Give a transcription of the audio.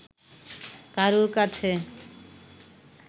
কারুর কাছে